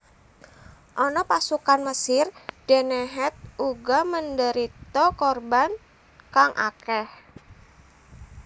Ana pasukan Mesir dene Het uga menderita korban kang akeh